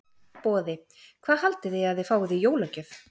Boði: Hvað haldið þið að þið fáið í jólagjöf?